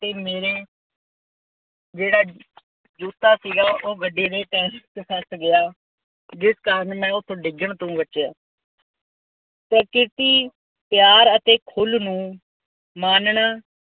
ਅਤੇ ਮੇਰੇ ਜਿਹੜਾ ਜੁੱਤਾ ਸੀਗਾ ਉੇਹ ਗੱਡੀ ਦੇ ਟਾਇਰ ਵਿੱਚ ਫੱਸ ਗਿਆ। ਜਿਸ ਕਾਰਨ ਮੈਂ ਉੱਥੋ ਡਿੱਗਣ ਤੋਂ ਬਚਿਆ। ਪ੍ਰਕਿਰਤੀ ਪਿਆਰ ਅਤੇ ਖੁੱਲ੍ਹ ਨੂੰ ਮਾਨਣਾ